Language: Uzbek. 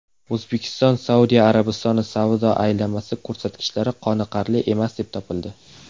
O‘zbekistonSaudiya Arabistoni savdo aylanmasi ko‘rsatkichlari qoniqarli emas deb topildi.